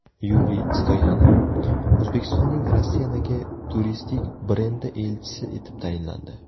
Yuriy Stoyanov O‘zbekistonning Rossiyadagi turistik brendi elchisi etib tayinlandi.